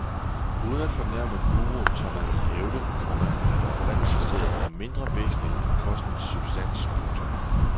Uden at fornærme guruen tør man vel hævde, komma at oprindelsesstedet er mindre væsentligt end kostens substans. punktum